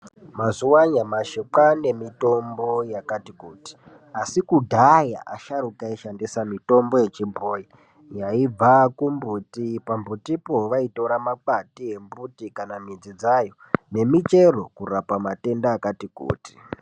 Mazuva anyamashi kwaane mitombo yakati kuti. Asi kudhaya asharuka aishandisa mitombo yechibhoi, yaibva kumbuti. Pambutipo vaitora makwati embuti kana midzi dzayo, nemichero kurapa matenda akatikuti.